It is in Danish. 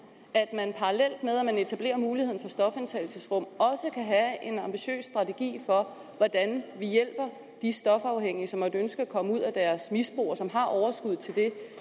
at man parallelt med at man etablerer muligheden for stofindtagelsesrum også kan have en ambitiøs strategi for hvordan vi hjælper de stofafhængige som måtte ønske at komme ud af deres misbrug og som har overskuddet til det